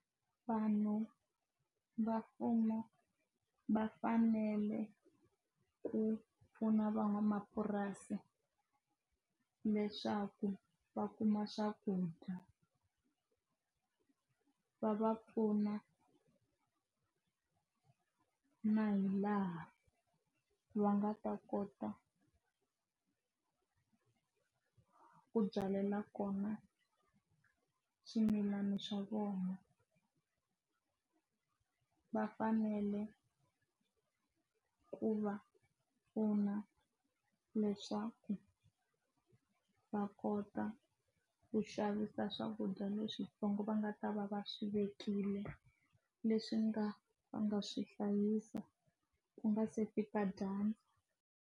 Vanhu va mfumo va fanele ku pfuna van'wamapurasi leswaku va kuma swakudya va va pfuna na hi laha va nga ta kota ku byala kona swimilana swa vona ku vafanele ku va pfuna leswaku va kota ku xavisa swakudya leswintsongo va nga ta va va swi vekile leswi nga va nga swi hlayisa ku nga se fika dyandza.